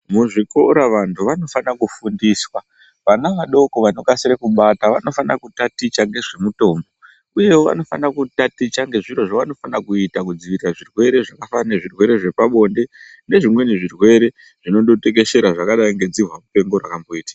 Muzvikora vantu vanokasira kufundiswa vana vadoko vantu ava vanofana kutaticha nezvemitombo uye vanofana kuita zvavanofana kuita kudzuvirira zvirwere zvakafanana kuita zvirwere zvepabonde nezvimweni zvirwere zvinotekeshrra zvakadai nedzihwa mupengo rinoita.